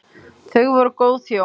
Þau voru góð hjón.